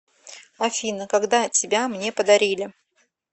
афина когда тебя мне подарили